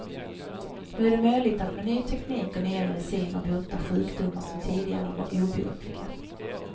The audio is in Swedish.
Nu är det möjligt att med ny teknik och nya mediciner bota sjukdomar som tidigare var obotliga.